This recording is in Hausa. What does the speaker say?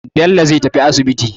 Bello zai tafi asibiti.